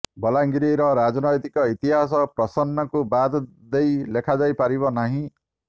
ବଲାଙ୍ଗୀରର ରଜନୈତିକ ଇତିହାସ ପ୍ରସନ୍ନଙ୍କୁ ବାଦ ଦେଇ ଲେଖାଯାଇ ପାରିବ ନାହିଁ